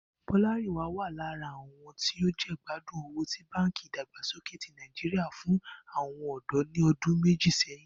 Bó̩lárìnwá wà lára àwo̩n tí ó jègbádùn owó tí Báǹkì Ìdàgbàsókè ti Nàìjíríà fún àwo̩n ò̩dó̩ ní o̩dún méjì sé̩yìn